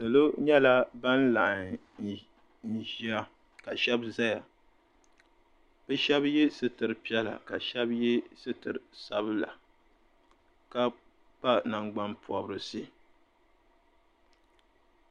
Salo nyɛla ban laɣim n-ʒiya ka shɛba zaya bɛ shɛba ye sitiri piɛla ka shɛba ye sitiri sabila ka kpa nangban'pɔbirisi.